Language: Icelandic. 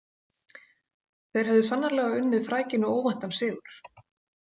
Þeir höfðu sannarlega unnið frækinn og óvæntan sigur.